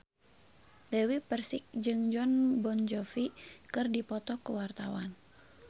Dewi Persik jeung Jon Bon Jovi keur dipoto ku wartawan